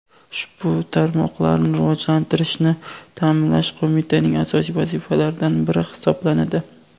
ushbu tarmoqlarni rivojlantirishni taʼminlash Qo‘mitaning asosiy vazifalaridan biri hisoblanadi.